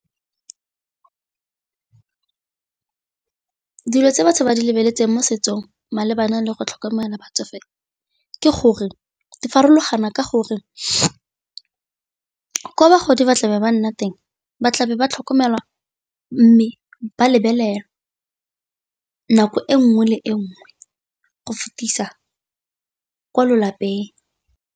Dilo tse batho ba di lebeletseng mo setsong malebana le go tlhokomela batsofe ke gore Di farologana ka gore, ko bagodi ba tlabe ba nna teng ba tlabe ba tlhokomelwa, mme ba lebelela nako e nngwe le e nngwe go fetisa kwa lapeng.